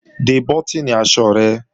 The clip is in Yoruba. De bọ́tìnì aṣọ rẹ!